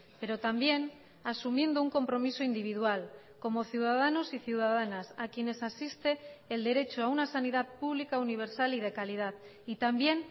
pero también asumiendo un compromiso individual como ciudadanos y ciudadanas a quienes asiste el derecho a una sanidad pública universal y de calidad y también